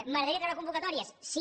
m’agradaria treure convocatòries sí